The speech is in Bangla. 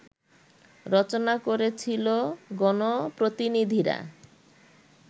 রচনা করেছিলো গণপ্রতিনিধিরা